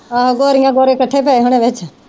ਆਹੋ ਗੋਰੀਆਂ ਗੋਰੇ ਇਕੱਠੇ ਪਏ ਹੋਣੇ ਵਿਚ।